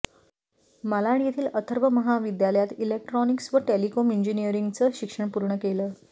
मालाड येथील अथर्व महाविद्यालयात इलेक्ट्रॉनिक्स व टेलिकॉम इंजिनीयरिंगचं शिक्षण पूर्ण केलं